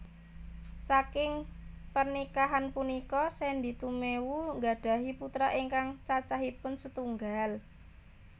Saking pernikahan punika Sandy Tumewu nggadhahi putra ingkang cacahipun setunggal